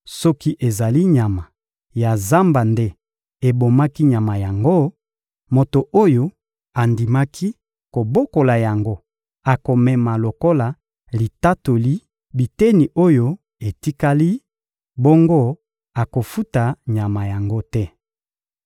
Soki ezali nyama ya zamba nde ebomaki nyama yango, moto oyo andimaki kobokola yango akomema lokola litatoli biteni oyo etikali; bongo akofuta nyama yango te.